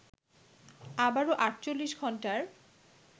আবারো ৪৮ ঘন্টার